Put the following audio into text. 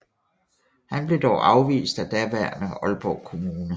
Han blev dog afvist af daværende Aalborg Kommune